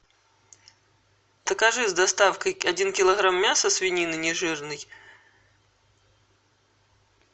закажи с доставкой один килограмм мяса свинины не жирной